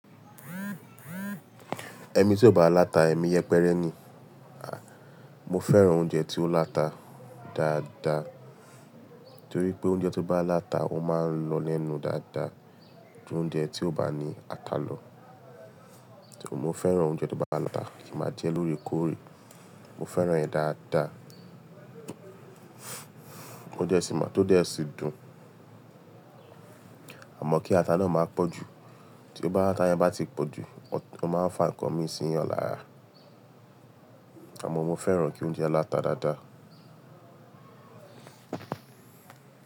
Ẹmi tí ó bá láta, èmi yẹpẹrẹ ni. A! Mo fẹ́ràn oúnjẹ tí ó láta dáadáa, torí pé oúnjẹ tó bá láta, ó máa ń lọ lẹ́nu dáadáa ju oúnjẹ tí kò bá ní ata lọ. Mo fẹ́ràn oúnjẹ tó bá láta, kí n máa jẹ loóre koore. Mo fẹ́ràn ẹ́ dáadáa, tó dẹ́ sí máa, tó dẹ́ sí dùn. Àmọ́ kí ata náà máa pọ̀jù, tí ọ ba- ti ata yẹn bá ti pọ̀jù, ó máa ń fa ǹkan mí síyan lára. Àmọ́ mo fẹ́ràn kí oúnjẹ láta dáadáa.